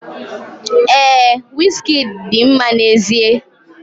Ee, Wizkidi dị mma n'ezie.